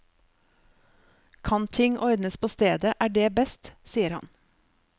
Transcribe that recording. Kan ting ordnes på stedet, er det best, sier han.